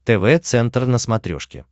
тв центр на смотрешке